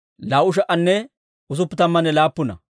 Gabaa'oona yaratuu 95.